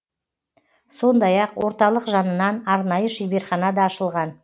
сондай ақ орталық жанынан арнайы шеберхана да ашылған